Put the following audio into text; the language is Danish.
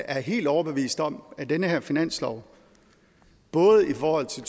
er helt overbevist om at den her finanslov både i forhold til